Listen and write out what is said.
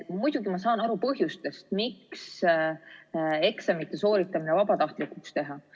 Muidugi ma saan aru põhjustest, miks eksamite sooritamise võiks vabatahtlikuks teha.